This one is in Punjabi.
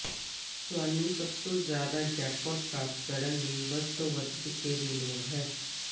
ਤੁਹਾਨੂੰ ਸਭ ਤੋਂ ਜ਼ਿਆਦਾ ਜੈਕਪਾਟ ਪ੍ਰਾਪਤ ਕਰਨ ਲਈ ਵੱਧ ਤੋਂ ਵੱਧ ਸਿੱਕੇ ਦੀ ਲੋੜ ਹੈ